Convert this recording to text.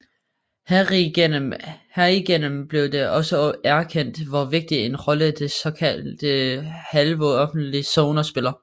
Herigennem blev det også erkendt hvor vigtig en rolle de såkaldte halvoffentlige zoner spiller